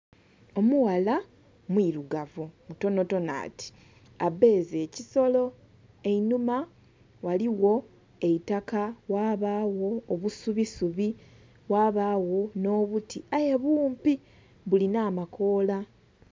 Omughala mwirugavu mutontono ati abbeze ekisolo einhuma ghaliwo eitaka ghabayo obusubisubi, ghabawo n' obuti aye bumpibumpi bulinamakoola